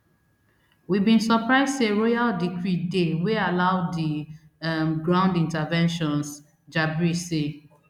we bin surprise say royal decree dey wey allow di um ground interventions jabri say